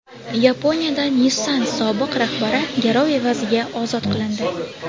Yaponiyada Nissan sobiq rahbari garov evaziga ozod qilindi.